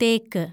തേക്ക്